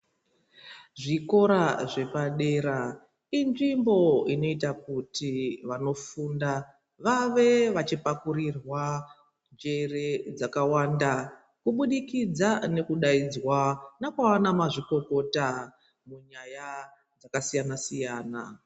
Zvikora zvepa dera inzvimbo inoita kuti vano funda vave vachi pakurirwa njere dzakawanda ku budikidzwa neku daidzwa nana mazvikota munyaya dzaka siyana siyana.